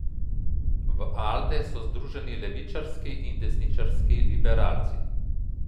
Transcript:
V Alde so združeni levičarski in desničarski liberalci.